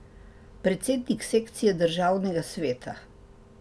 Predsednik sekcije Državnega sveta.